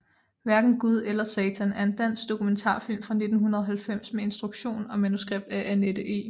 Hverken Gud eller Satan er en dansk dokumentarfilm fra 1990 med instruktion og manuskript af Anette E